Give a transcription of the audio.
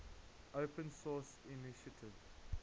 open source initiative